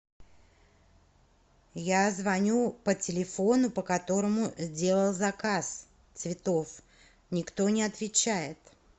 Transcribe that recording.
я звоню по телефону по которому делала заказ цветов никто не отвечает